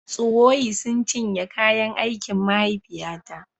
Tsuwoyi sun cinye kayan aikin mahaifiyata